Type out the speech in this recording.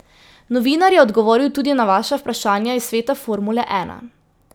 Novinar je odgovoril tudi na vaša vprašanja iz sveta formule ena.